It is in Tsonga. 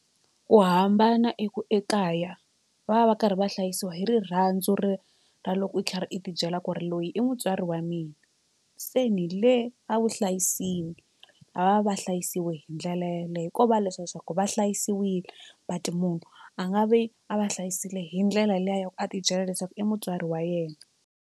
Ku hambana eku ekaya va va va karhi va hlayisiwa hi rirhandzu ri ra loko u kha u ti byela ku ri loyi i mutswari wa mina se ni le a vuhlayisini a va va hlayisiwi hi ndlela yeleyo ko va leswiya swa ku va hlayisiwile but munhu a nga vi a va hlayisile hi ndlela liya ya ku a ti byela leswaku i mutswari wa yena.